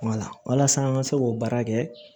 walasa an ka se k'o baara kɛ